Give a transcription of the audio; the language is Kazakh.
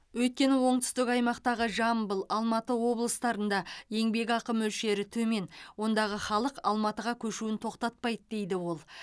өйткені оңтүстік аймақтағы жамбыл алматы облыстарында еңбекақы мөлшері төмен ондағы халық алматыға көшуін тоқтатпайды дейді ол